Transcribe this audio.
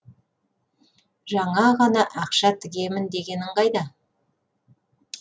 жаңа ғана ақша тігемін дегенің қайда